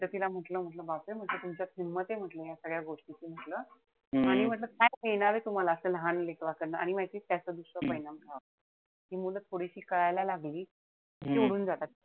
मी त तिला म्हंटल बापरे तुमच्यात हिम्मत ए म्हंटल या सगळ्या गोष्टीची म्हंटल. आणि म्हंटल काय मिळणारे तुम्हाला त्या लहान लेकराकडनं. आणि माहितीये त्याचा दुसरा परिणाम काय, ती मुलं थोडीशी कळायला लागली कि सोडून जातात.